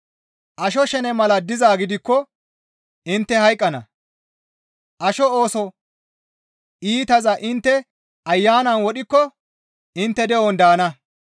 Asho shene mala dizaa gidikko intte hayqqana; asho ooso iitaza intte Ayanan wodhikko intte de7on daana.